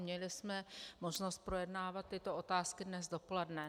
Měli jsme možnost projednávat tyto otázky dnes dopoledne.